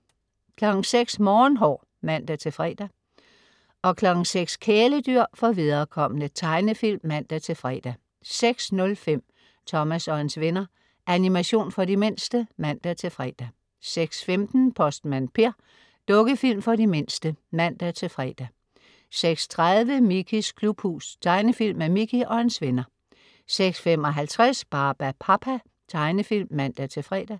06.00 Morgenhår (man-fre) 06.00 Kæledyr for viderekomne. Tegnefilm (man-fre) 06.05 Thomas og hans venner. Animation for de mindste (man-fre) 06.15 Postmand Per. Dukkefilm for de mindste (man-fre) 06.30 Mickeys Klubhus. Tegnefilm med Mickey og hans venner 06.55 Barbapapa. Tegnefilm (man-fre)